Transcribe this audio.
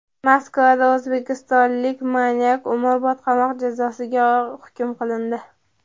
Moskvada o‘zbekistonlik manyak umrbod qamoq jazosiga hukm qilindi.